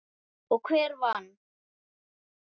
Og hver vann?